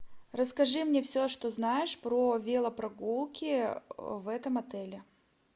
расскажи мне все что знаешь про велопрогулки в этом отеле